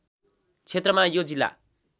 क्षेत्रमा यो जिल्ला